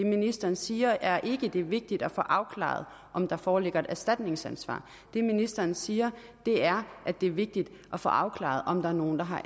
ministeren siger er ikke at det er vigtigt at få afklaret om der foreligger et erstatningsansvar det ministeren siger er at det er vigtigt at få afklaret om der er nogen der har